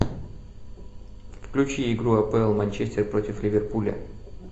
включи игру апл манчестер против ливерпуля